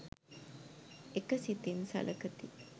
එක සිතින් සළකති.